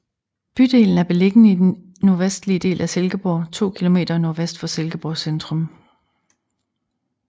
Bydelen er beliggende i den nordvestlige del af Silkeborg to kilometer nordvest for Silkeborg centrum